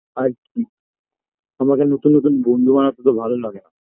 আর কী আমাকে নতুন নতুন বন্ধু বানাতে তো ভালো লাগে না